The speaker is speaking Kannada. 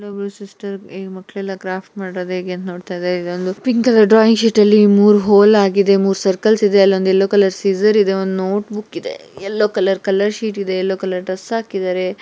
ಇಲ್ಲೋಬ್ರು ಸಿಸ್ಟರ್ ಮಕ್ಕಳೆಲ್ಲ ಕ್ರಾಫ್ಟ್ ಮಾಡೋದು ಹೇಗೆ ಅಂತ ನೋಡ್ತಾ ಇದ್ದಾರೆ ಇಲ್ಲೊಂದು ಪಿಂಕ್ ಕಲರ್ ಡ್ರಾಯಿಂಗ್ ಶೀಟ್ ಇದೆ ಮೂರು ಹೋಲ್ ಆಗಿದೆ ಮೂರ್ ಸರ್ಕಲ್ಸ್ ಇದೆ ಅಲ್ಲೊಂದು ಯಲ್ಲೋ ಕಲರ್ ಸಿಜರ್ ಇದೆ ಒಂದು ನೋಟ್ ಬುಕ್ ಇದೆ ಯೆಲ್ಲೋ ಕಲರ್ ಕಲರ್ ಶೀಟ್ ಇದೆ ಯೆಲ್ಲೋ ಕಲರ್ ಡ್ರೆಸ್ ಹಾಕಿದ್ದಾರೆ.